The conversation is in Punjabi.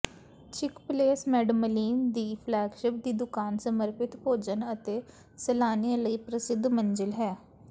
ਚਿਕ ਪਲੇਸ ਮੈਡਮਲੀਨ ਦੀ ਫਲੈਗਸ਼ਿਪ ਦੀ ਦੁਕਾਨ ਸਮਰਪਿਤ ਭੋਜਨ ਅਤੇ ਸੈਲਾਨੀਆਂ ਲਈ ਪ੍ਰਸਿੱਧ ਮੰਜ਼ਿਲ ਹੈ